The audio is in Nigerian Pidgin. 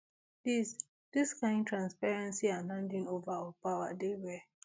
dis dis kain transparency and handing ova of power dey rare